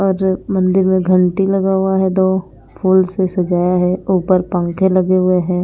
और मंदिर में घंटी लगा हुआ है दो फूल से सजाया है ऊपर पंखे लगे हुए हैं।